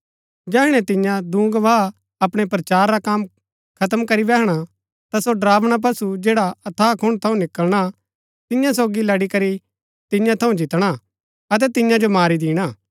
जैहणै तिन्या दूँ गवाह अपणै प्रचार रा कम खत्म करी बैहणा ता सो ड़रावना पशु जैडा अथाह कुण्ड़ थऊँ निकलणा तियां सोगी लड़ीकरी तियां थऊँ जितणा अतै तियां जो मारी दिणा